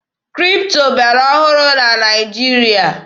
Kripto bịara ọhụrụ na Naịjirịa